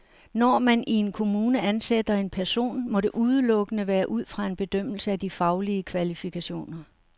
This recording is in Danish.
Når man i en kommune ansætter en person, må det udelukkende være ud fra en bedømmelse af de faglige kvalifikationer.